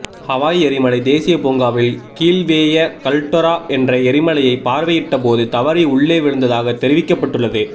Hawaii எரிமலை தேசிய பூங்காவில் கீல்வேய கல்டெரா என்ற எரிமலையை பார்வையிட்ட போது தவறி உள்ளே விழுந்ததாக தெரிவிக்கப்பட்டுள்ளது